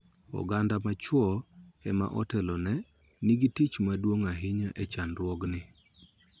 Oganda ma chwo ema otelo ne nigi tich maduong� ahinya e chandruokni.